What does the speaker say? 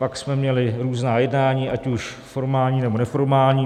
Pak jsme měli různá jednání, ať už formální, nebo neformální.